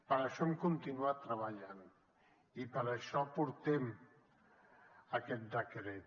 per això hem continuat treballant i per això portem aquest decret